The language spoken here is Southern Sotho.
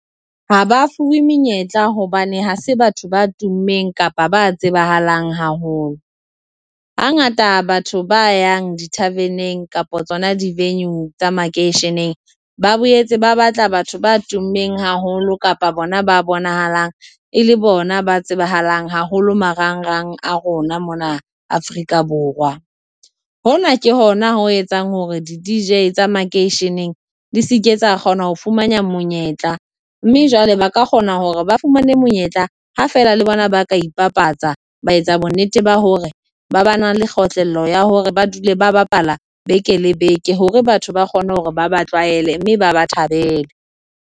Ha ba fuwe menyetla hobane ha se batho ba tummeng kapa ba tsebahalang haholo, hangata batho ba yang di-tarven-eng kapa tsona di-venue tsa makeisheneng ba boetse ba batla batho ba tummeng haholo kapa bona ba bonahalang e le bona ba tsebahalang haholo marangrang a rona mona Afrika Borwa. Hona ke hona o etsang hore di-Dj tsa makeisheneng di se ke tsa kgona ho fumana monyetla mme jwale ba ka kgona hore ba fumane monyetla ha feela le bona ba ka ipapatsa, ba etsa bonnete ba hore ba ba na le kgotlello ya hore ba dule ba bapala beke le beke hore batho ba kgone hore ba ba tlwaele, mme ba ba thabele.